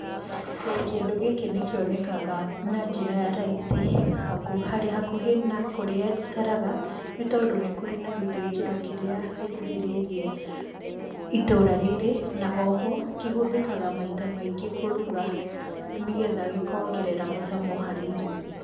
Kĩndũ gĩkĩ nĩkĩonekaga na njĩra ya raithi hakũhĩ na kurĩa njikaraga nĩ tondũ nĩkũrĩ na gĩthĩnjĩro kĩrĩa gĩkuhĩrĩirie itũra rĩrĩ na oho kĩhũthĩkaga maita maingĩ kũruga nĩgetha gĩkongerera mũcamo harĩ irio.